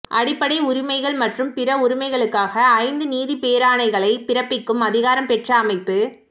அடிப்படை உரிமைகள் மற்றும் பிற உரிமைகளுக்காக ஐந்து நீதி பேராணைகளைப் பிறப்பிக்கும் அதிகாரம் பெற்ற அமைப்பு